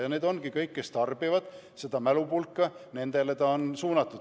Jaa, need ongi, kõik, kes tarbivad seda mälupulka, nendele ta ongi suunatud.